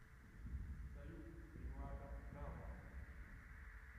салют милада дава